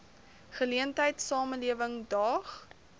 geleentheid samelewing daag